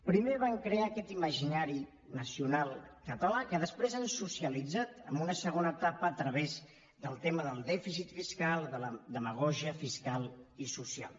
primer van crear aquest imaginari nacional català que després han socialitzat en una segona etapa a través del tema del dèficit fiscal de la demagògia fiscal i social